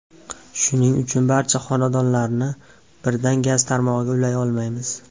Shuning uchun barcha xonadonlarni birdan gaz tarmog‘iga ulay olmaymiz”.